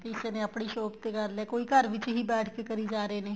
ਕਿਸੇ ਨੇ ਆਪਣੀ shop ਤੇ ਕਰ ਲਿਆ ਕੋਈ ਘਰ ਵਿੱਚ ਹੀ ਬੈਠ ਕੇ ਕਰੀ ਜਾ ਰਹੇ ਨੇ